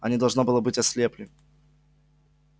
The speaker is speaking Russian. они должно было быть ослепли